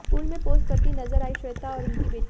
pool में pose करतीं नजर आईं श्वेता और उनकी बेटी